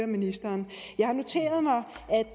ministeren